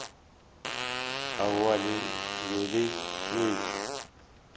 aowa le be le šetše